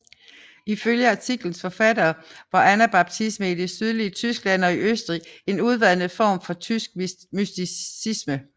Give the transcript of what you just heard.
Ifølge artiklens forfattere var anabaptismen i det sydlige Tyskland og i Østrig en udvandet form for tysk mysticisme